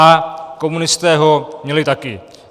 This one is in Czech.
A komunisté ho měli taky.